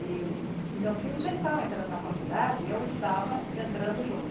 E meus filhos já estavam entrando na faculdade e eu estava entrando junto.